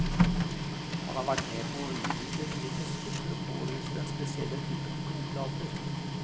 Han har vært med på å utvikle nye tester for å påvise den spesielle typen blodplater.